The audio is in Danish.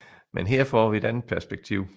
Men her får vi et andet perspektiv